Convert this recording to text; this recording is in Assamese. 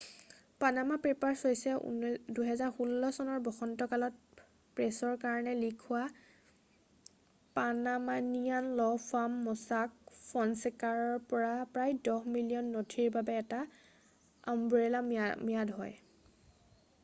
"""পানামা পেপাৰ্ছ" হৈছে ২০১৬ চনৰ বসন্তকালত প্ৰেছৰ কাৰণে লীক হোৱা পানামানিয়ান ল' ফাৰ্ম ম'ছাক ফ'নছেকাৰ পৰা প্ৰায় দহ মিলিয়ন নথিৰৰ বাবে এটা আমব্ৰেলা ম্যাদ হয়।""